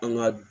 An ka